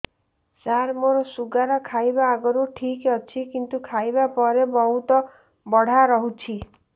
ସାର ମୋର ଶୁଗାର ଖାଇବା ଆଗରୁ ଠିକ ଅଛି କିନ୍ତୁ ଖାଇବା ପରେ ବହୁତ ବଢ଼ା ରହୁଛି